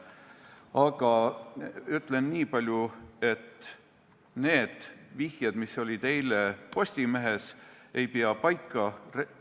Aga ütlen niipalju, et need vihjed, mis olid eile Postimehes, ei pea paika.